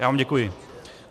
Já vám děkuji.